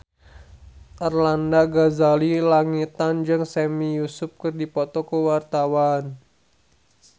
Arlanda Ghazali Langitan jeung Sami Yusuf keur dipoto ku wartawan